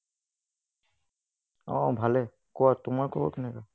অহ্‌ ভালেই, কোৱা তোমাৰ খবৰ কেনেকুৱা?